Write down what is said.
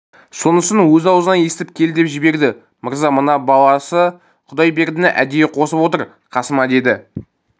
сонысын өз аузынан естіп кел деп жіберді мырза мына баласы құдайбердіні әдейі қосып отыр қасыма деді